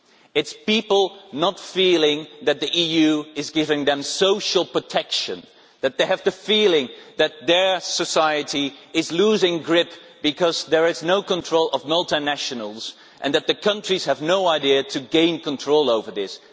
It is people not feeling that the EU is giving them social protection, people feeling that their society is losing its grip because there is no control over multinationals and that the countries have no idea how to gain control over this.